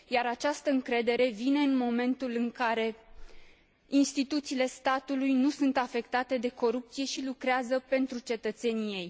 Iar această încredere vine în momentul în care instituțiile statului nu sunt afectate de corupție și lucrează pentru cetățenii săi.